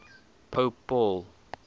pope paul